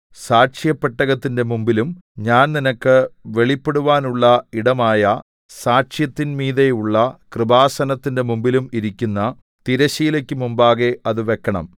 സാക്ഷ്യപെട്ടകത്തിന്റെ മുമ്പിലും ഞാൻ നിനക്ക് വെളിപ്പെടുവാനുള്ള ഇടമായ സാക്ഷ്യത്തിന്മീതെയുള്ള കൃപാസനത്തിന്റെ മുമ്പിലും ഇരിക്കുന്ന തിരശ്ശീലയ്ക്ക് മുമ്പാകെ അത് വെക്കണം